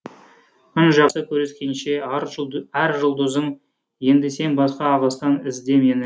күн жақсы көріскенше ар жұлдызым енді сен басқа ағыстан ізде мені